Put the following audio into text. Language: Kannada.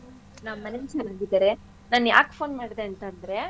ನಮ್ಮೆನೆಲು ಚೆನ್ನಾಗಿದರೆ ನಾನ್ ಯಾಕ್ phone ಮಾಡ್ದೆ ಅಂತಂದ್ರೆ.